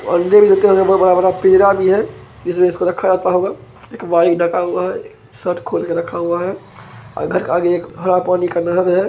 भी है इसलिए इसको रखा होता होगा एक बाइक ढका हुआ है शर्ट खोल के रखा हुआ है आ घर के आगे एक हरा पानी का नहर है।